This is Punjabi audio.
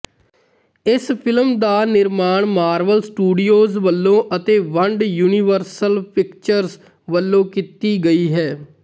ਇਸ ਫਿਲਮ ਦਾ ਨਿਰਮਾਣ ਮਾਰਵਲ ਸਟੂਡੀਓਜ਼ ਵਲੋਂ ਅਤੇ ਵੰਡ ਯੁਨੀਵਰਸਲ ਪਿਕਚਰਜ਼ ਵਲੋਂ ਕੀਤੀ ਗਈ ਹੈ